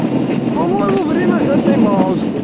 по-моему время взять таймаут